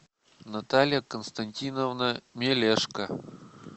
наталья константиновна мелешко